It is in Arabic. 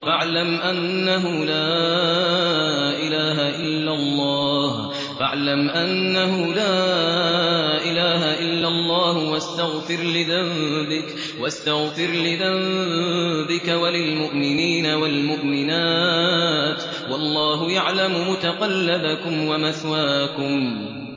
فَاعْلَمْ أَنَّهُ لَا إِلَٰهَ إِلَّا اللَّهُ وَاسْتَغْفِرْ لِذَنبِكَ وَلِلْمُؤْمِنِينَ وَالْمُؤْمِنَاتِ ۗ وَاللَّهُ يَعْلَمُ مُتَقَلَّبَكُمْ وَمَثْوَاكُمْ